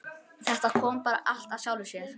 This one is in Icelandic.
Þetta kom bara allt af sjálfu sér.